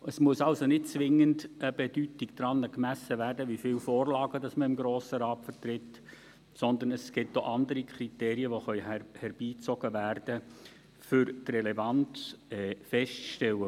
Es muss also nicht zwingend eine Bedeutung daran gemessen werden, wie viele Vorlagen man im Grossen Rat vertritt, sondern es gibt auch andere Kriterien, die herangezogen werden können, um die Relevanz festzustellen.